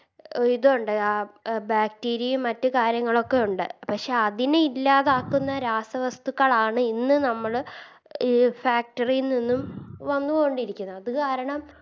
ഇതൊണ്ട് ആ Bacteria യും മറ്റ് കാര്യങ്ങളൊക്കെയുണ്ട് പക്ഷെ അതിനെ ഇല്ലാതാക്കുന്ന രാസവസ്തുക്കളാണ് ഇന്ന് നമ്മള് ഈ Factory ൽ നിന്നും വന്നുകൊണ്ടിരിക്കുന്നത് അത് കാരണം